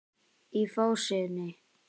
Í fásinni